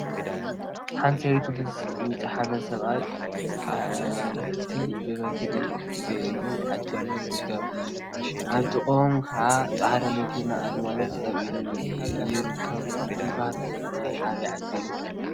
ሓንቲ ሰበይቲ ምስ ዝጨሓመ ሰብአይ አዕርክቲ ብበትሪ ገይሮም እናዓጀብዎም ይርከቡ፡፡ አብ ጥቅኦም ከዓ ፃዕዳ መኪናን አግማልን ጠጠው ኢሎም ይርከቡ፡፡ እዚ ባህሊ ናይ አበይ ዓዲ እዩ?